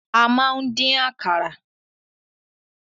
A máa ń dín àkàrà.